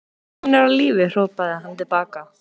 Hún er á lífi, hrópaði hann til baka.